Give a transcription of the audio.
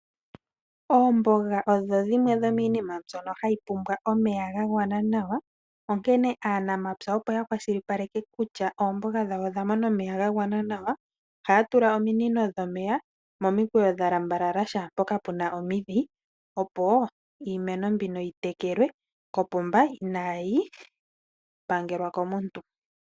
Oombaanga odho dhimwe dho miimeno mbyono hayi pumbwa omeya ga gwana nawa. Aanamapya opo ya kwashilipaleke kutya oomboga dhawo odha mona omeya ga gwana nawa ohaya tula ominino dha lambalala kehe mpoka puna omidhi opo iimeno mbino yi tekelwe ko pomba inaayi pangelwa komuntu.